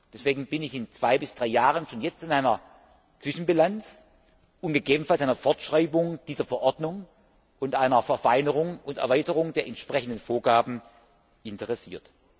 Deswegen bin ich in zwei bis drei Jahren schon jetzt an einer Zwischenbilanz und gegebenenfalls einer Fortschreibung dieser Verordnung und einer Verfeinerung und Erweiterung der entsprechenden Vorgaben interessiert.